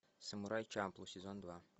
самурай чамплу сезон два